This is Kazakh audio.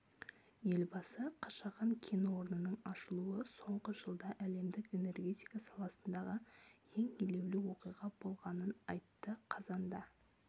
елбасы қашаған кен орнының ашылуы соңғы жылда әлемдік энергетика саласындағы ең елеулі оқиға болғанын айтты қазанда